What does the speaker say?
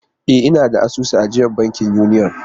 E, ina da asusun ajiyar banki Union.